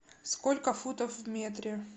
сколько футов в метре